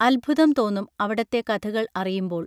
അദ്ഭുതം തോന്നും അവിടത്തെ കഥകൾ അറിയുമ്പോൾ